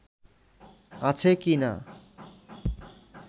আছে কি না